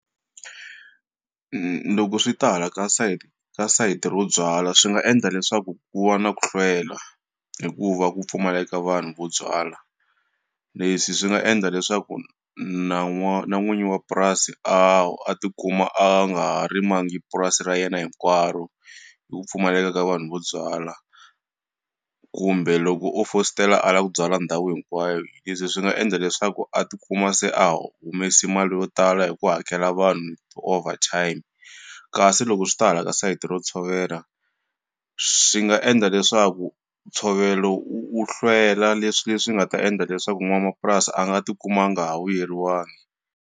Loko swi ta hala ka site ka sayiti ro byala swi nga endla leswaku ku va na ku hlwela hikuva ku pfumaleka vanhu vo byala leswi swi nga endla leswaku na n'wa na n'winyi wa purasi a tikuma a nga ha rimangi purasi ra yena hinkwaro hi ku pfumaleka ka vanhu vo byala kumbe loko u fositela a la ku byala ndhawu hinkwayo, leswi swi nga endla leswaku a tikuma se a humesi mali yo tala hi ku hakela vanhu overtime kasi loko swi ta hala ka sayiti ro tshovela swi nga endla leswaku ntshovelo u hlwela leswi leswi nga ta endla leswaku n'wanamapurasi a nga ti kuma a nga ha vuyeriwangi.